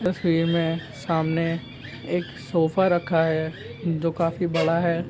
तस्वीर मे सामने एक सोफा रखा है। जो काफी बड़ा है।